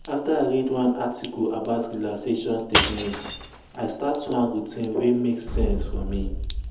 after i read one article about relaxation techniques i start one routine wey make sense for me.